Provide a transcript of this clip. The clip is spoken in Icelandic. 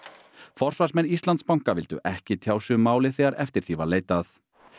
forsvarsmenn Íslandsbanka vildu ekki tjá sig um málið þegar eftir því var leitað